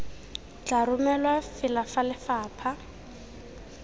tla romelwa fela fa lefapha